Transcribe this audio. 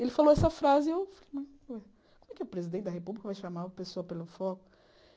Ele falou essa frase e eu falei, mas como é que o presidente da República vai chamar a pessoa pelo foco?